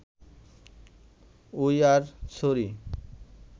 we are sorry